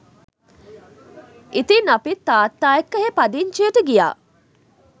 ඉතින් අපිත් තාත්තා එක්ක එහේ පදිංචියට ගියා